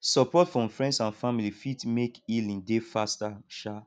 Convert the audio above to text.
sopport from friends and family fit mek healing dey faster um